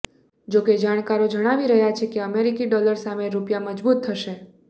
જોકે જાણકારો જણાવી રહ્યાં છે અમેરિકી ડોલર સામે રૂપિયા મજબૂત થશે